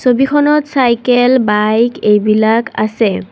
ছবিখনত cycle bike এইবিলাক আছে।